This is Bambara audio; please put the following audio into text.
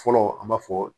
Fɔlɔ an b'a fɔ